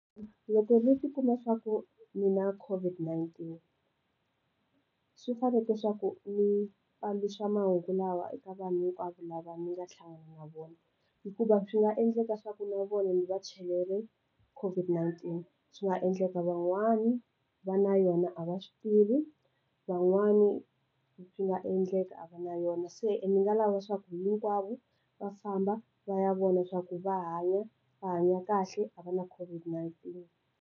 Loko vo swi kuma swa ku ndzi na COVID-19 swi faneke swa ku ndzi fambisa mahungu lawa eka vanhu hinkwavo lava ndzi nga hlangana na vona hikuva swi nga endleka swa ku na vona ndzi va chele COVID-19, swi nga endleka van'wana va na yona a va swi tivi, van'wani swi nga endleka a va na yona. Se ndzi nga lava leswaku hinkwavo va famba va ya vona swa ku va hanya, va hanya kahle a va na COVID-19.